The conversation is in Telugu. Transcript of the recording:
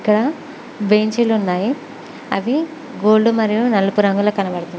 ఇక్కడ బెంచీలున్నాయి అవి గోల్డ్ మరియు నలుపు రంగులో కనబడుతున్న--